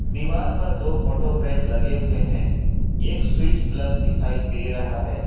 दीवार पर दो फोटो फ्रेम लगे हुए हैं एक स्विच प्लग दिखाई दे है।